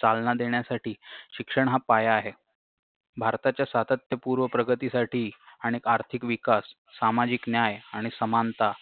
चालना देण्यासाठी शिक्षण हा पाया आहे भारताच्या सातत्यपूर्व प्रगतीसाठी आणि आर्थिक विकास सामाजिक न्याय आणि समानता